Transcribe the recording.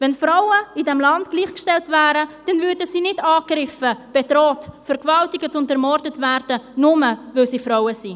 Wären Frauen in diesem Land gleichgestellt, dann würden sie nicht angegriffen, bedroht, vergewaltigt und ermordet, nur, weil sie Frauen sind.